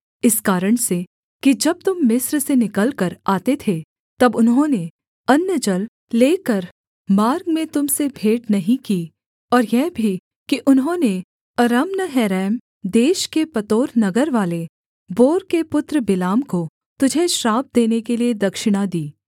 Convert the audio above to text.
इस कारण से कि जब तुम मिस्र से निकलकर आते थे तब उन्होंने अन्न जल लेकर मार्ग में तुम से भेंट नहीं की और यह भी कि उन्होंने अरम्नहरैम देश के पतोर नगरवाले बोर के पुत्र बिलाम को तुझे श्राप देने के लिये दक्षिणा दी